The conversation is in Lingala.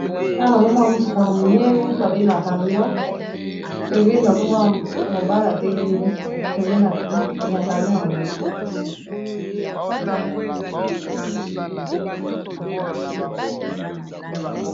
wana nazomona motuka monene babenga camyon pembe nazomona mobala ytelemi pembe ya camion yango